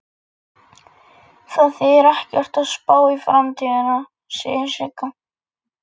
Það þýðir ekkert að spá í framtíðina, segir Sigga.